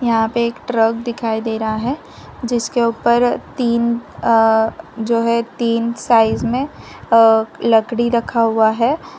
यहां पे एक ट्रक दिखाई दे रहा है जिसके ऊपर तीन अह जो है तीन साइज में अह लकड़ी रखा हुआ है।